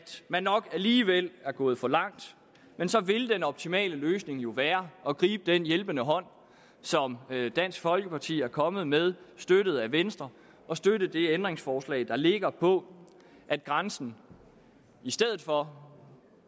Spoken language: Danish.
man nok alligevel er gået for langt men så ville den optimale løsning jo være at gribe den hjælpende hånd som dansk folkeparti er kommet med støttet af venstre og støtte det ændringsforslag der ligger på at grænsen i stedet for